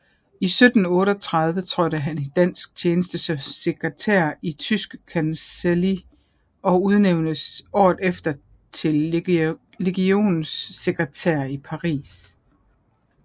I 1738 trådte han i dansk tjeneste som sekretær i Tyske Kancelli og udnævntes året efter til legationssekretær i Paris